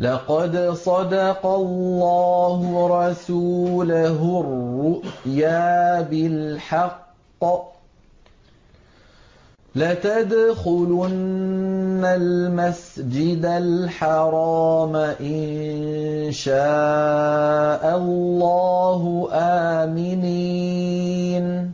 لَّقَدْ صَدَقَ اللَّهُ رَسُولَهُ الرُّؤْيَا بِالْحَقِّ ۖ لَتَدْخُلُنَّ الْمَسْجِدَ الْحَرَامَ إِن شَاءَ اللَّهُ آمِنِينَ